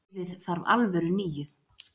Liðið þarf alvöru níu.